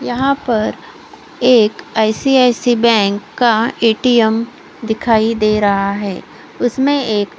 यहाँ पर एक आई_सी_आई_सी बैंक का ए_टी_एम दिखाई दे रहा है उसमे एक--